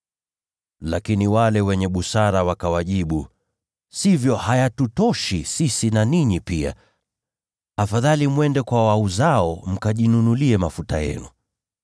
“Lakini wale wenye busara wakawajibu, ‘Sivyo, hayatutoshi sisi na ninyi pia. Afadhali mwende kwa wauzao mkajinunulie mafuta yenu.’